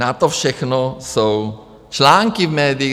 Na to všechno jsou články v médiích.